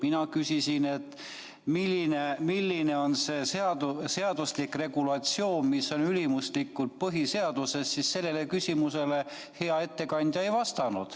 Mina küsisin, milline on see seaduslik regulatsioon, mis on ülimuslikum põhiseadusest, aga sellele küsimusele hea ettekandja ei vastanud.